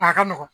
A ka nɔgɔn